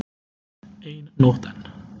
Ein nótt enn.